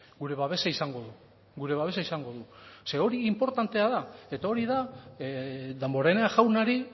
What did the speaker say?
gure babesa izango du gure babesa izango du zeren hori inportantea da eta hori da damborenea jaunari